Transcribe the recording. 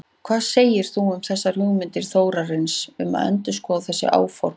Hvað segir þú um þessar hugmyndir Þórarins um að endurskoða þessi áform?